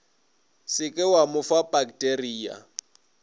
se ke wa fa pakteria